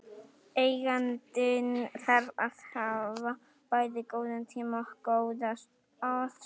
Eigandinn þarf að hafa bæði góðan tíma og góða aðstöðu.